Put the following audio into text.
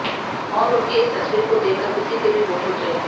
और उनकी इस तस्वीर को देख कर किसी के भी होश उड़ जाएंगे